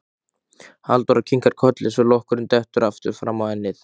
Halldóra kinkar kolli svo lokkurinn dettur aftur fram á ennið.